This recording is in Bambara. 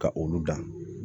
Ka olu dan